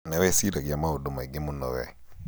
nĩwĩĩciragia maũndũ maingĩ mũno we.